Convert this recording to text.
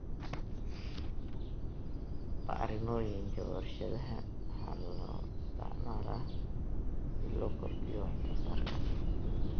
Bacrimiyooyinka warshadaha waxaa loo isticmaalaa si loo kordhiyo waxsoosaarka.